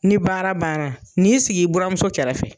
Ni baara banna, n'i sig'i buramuso kɛrɛfɛ.